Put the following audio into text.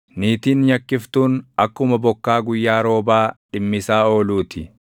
Niitiin nyakkiftuun, akkuma bokkaa guyyaa roobaa dhimmisaa ooluu ti;